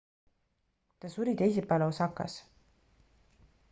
ta suri teisipäeval osakas